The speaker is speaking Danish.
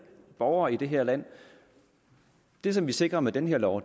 borgere i det her land det som vi sikrer med den her lov